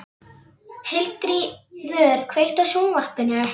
Hildiríður, kveiktu á sjónvarpinu.